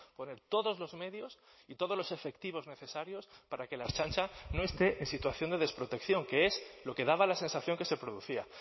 poner todos los medios y todos los efectivos necesarios para que la ertzaintza no esté en situación de desprotección que es lo que daba la sensación que se producía